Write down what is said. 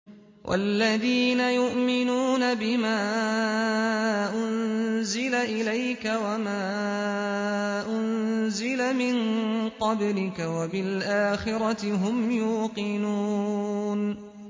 وَالَّذِينَ يُؤْمِنُونَ بِمَا أُنزِلَ إِلَيْكَ وَمَا أُنزِلَ مِن قَبْلِكَ وَبِالْآخِرَةِ هُمْ يُوقِنُونَ